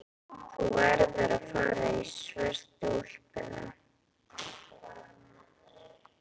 Þú verður að fara í svörtu úlpuna.